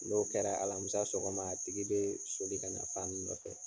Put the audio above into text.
N'o kɛra alamusa sɔgɔma a tigi bɛ soli ka na a nɔfɛ.